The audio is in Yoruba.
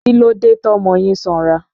Kílódé tọ́mọ yín sanra?